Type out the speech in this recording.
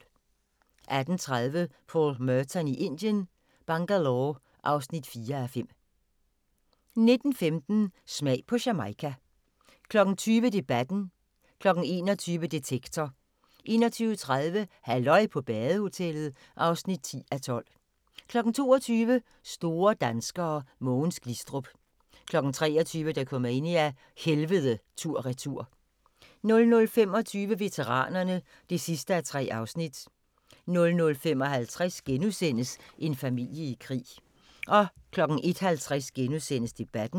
18:30: Paul Merton i Indien - Bangalore (4:5) 19:15: Smag på Jamaica 20:00: Debatten 21:00: Detektor 21:30: Halløj på badehotellet (10:12) 22:00: Store danskere: Mogens Glistrup 23:00: Dokumania: Helvede tur/retur 00:25: Veteranerne (3:3) 00:55: En familie i krig * 01:50: Debatten *